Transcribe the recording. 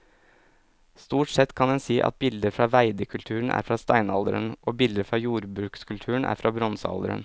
Stort sett kan en si at bilder fra veidekulturen er fra steinalderen og bilder fra jordbrukskulturen er fra bronsealderen.